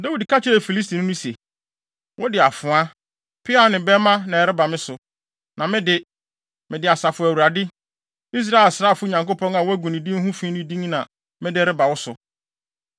Dawid ka kyerɛɛ Filistini no se, “Wode afoa, peaw ne bɛmma na ɛreba me so, na me de, mede Asafo Awurade, Israel asraafo Nyankopɔn a woagu ne din ho fi no din na mede reba wo so.